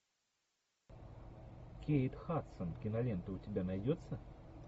кейт хадсон кинолента у тебя найдется